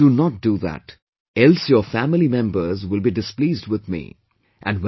Please, do not do that, else your family members will be displeased with me